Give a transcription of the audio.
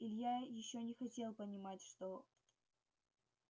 илья ещё не хотел понимать что